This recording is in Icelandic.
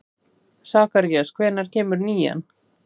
Sakarías, hvenær kemur nían?